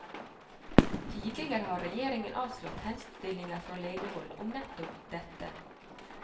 Tidligere har regjeringen avslått henstillinger fra legehold om nettopp dette.